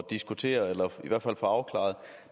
diskutere eller i hvert fald få afklaret